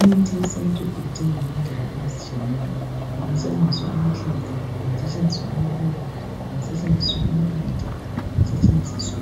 Imithi yesintu idingwa ngendlela ezitshiyeneyo. Kungasetshenziswa amahlamvu. Kungasetshenziswa amaluba. Kungasetshenziswa impande. Kungasetshenziswa